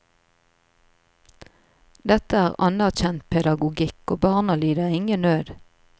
Dette er anerkjent pedagogikk, og barna lider ingen nød.